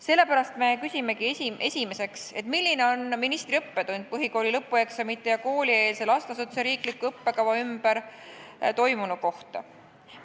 Sellepärast me küsimegi esiteks: "Milline on Teie jaoks õppetund põhikooli lõpueksamite ja koolieelse lasteasutuse riikliku õppekava ümber toimunu kohta?